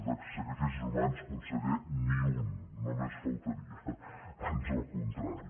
de sacrificis humans conseller ni un només faltaria ans al contrari